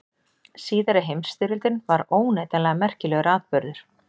Síðari heimsstyrjöldin var óneitanlega merkilegur atburður.